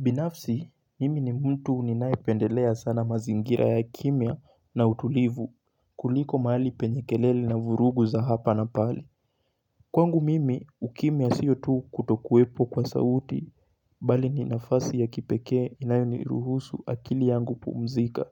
Binafsi, mimi ni mtu ninaependelea sana mazingira ya kimya na utulivu kuliko maali penye kelele na vurugu za hapa na pale. Kwangu mimi, ukimya siyo tu kutokuwepo kwa sauti, bali ni nafasi ya kipekee inayoniruhusu akili yangu pumzika,